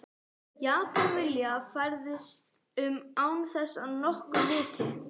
Japan vilja fræðast um án þess að nokkur viti.